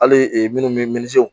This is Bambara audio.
Hali minnu bɛ minisiw